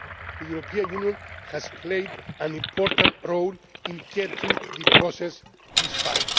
States. The European Union has played an important role in getting the process this